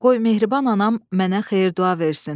Qoy mehriban anam mənə xeyir-dua versin.